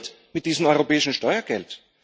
Was passiert mit diesem europäischen Steuergeld?